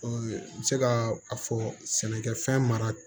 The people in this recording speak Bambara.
n bɛ se ka a fɔ sɛnɛkɛfɛn mara